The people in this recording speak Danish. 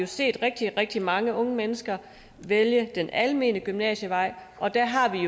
set rigtig rigtig mange unge mennesker vælge denne almene gymnasievej og der har vi